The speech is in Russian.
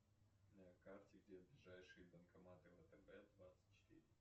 на карте где ближайшие банкоматы втб двадцать четыре